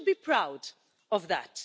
We should be proud of that.